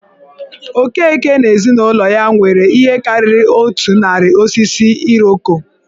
Okeke na ezinụlọ ya nwere ihe karịrị otu narị osisi Iroko.